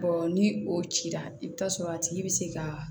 ni o cira i bɛ taa sɔrɔ a tigi bɛ se ka